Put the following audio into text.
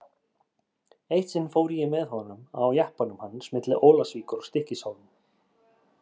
Eitt sinn fór ég með honum á jeppanum hans milli Ólafsvíkur og Stykkishólms.